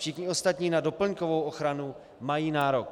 Všichni ostatní na doplňkovou ochranu mají nárok.